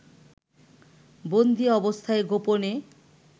বন্দি অবস্থায় গোপনে